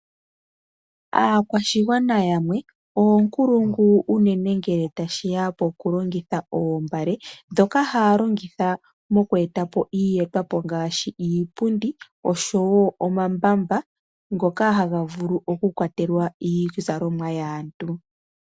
Aakwashigwana yamwe, oonkulungu unene ngele tashiya pokulongitha oombale, dhoka haalongitha mokweetapo iiyetwapo ngaashi, iipundi oshowo omambaba ngoka havulu oku kwatelwa iizalomwa yaantu.